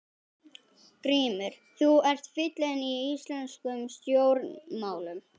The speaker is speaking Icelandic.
GRÍMUR: Þú ert fíllinn í íslenskum stjórnmálum!